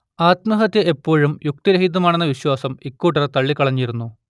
ആത്മഹത്യ എപ്പോഴും യുക്തിരഹിതമാണെന്ന വിശ്വാസം ഇക്കൂട്ടർ തള്ളിക്കളഞ്ഞിരുന്നു